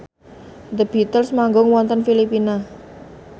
The Beatles manggung wonten Filipina